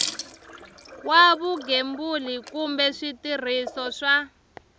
wa vugembuli kumbe switirhiso swa